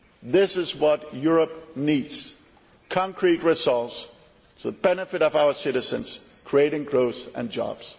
This is what Europe needs concrete results for the benefit of our citizens, creating growth and jobs.